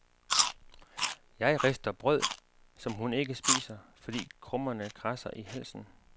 Jeg rister brød, som hun ikke spiser, fordi krummerne kradser i halsen.